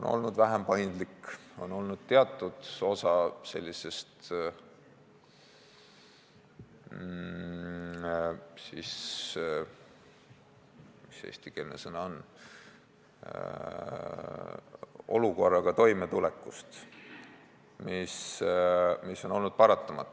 olnud vähem paindlik sellise olukorraga toimetulekul, mis on olnud paratamatu.